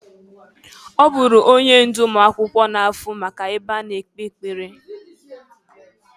Ọ bụrụ onye ndụ ụmụakwụkwọ na-afụ maka ebe a na-ekpe ekpere.